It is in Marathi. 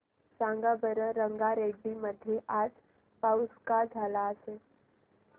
सांगा बरं रंगारेड्डी मध्ये आज पाऊस का झाला असेल